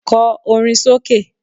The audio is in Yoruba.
Kọ orin sókè